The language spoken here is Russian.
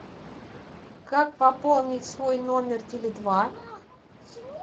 как пополнить свой номер теле два